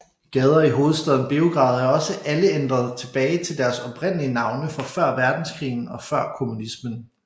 Gader i hovedstaden Beograd er også alle ændret tilbage til deres oprindelige navne fra før verdenskrigen og før kommunismen